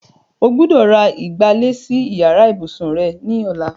O gbọ́dọ̀ ra ìgbálẹ̀ sí yàrá ìbùsùn rẹ ní ọ̀la.